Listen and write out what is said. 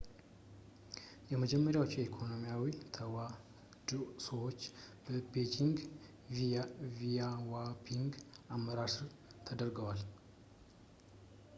የመጀመሪያዎቹ ኢኮኖሚያዊ ተሐድሶዎች በዴንግ ሺያዎፒንግ አመራር ስር ተደርገዋል